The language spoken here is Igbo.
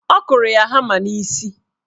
Ọ kụrụ ya hama n'isi.